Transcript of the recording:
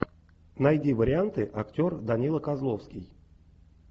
найди варианты актер данила козловский